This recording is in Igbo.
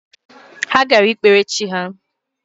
Ha gara ikpere chi ya